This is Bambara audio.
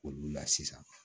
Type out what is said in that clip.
Olu la sisan